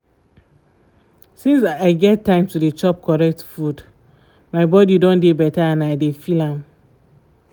since i get time to dey chop correct food food my body don dey better and i dey feel am